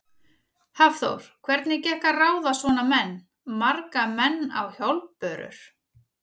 Hafþór: Hvernig gekk að ráða svona menn, marga menn á hjólbörur?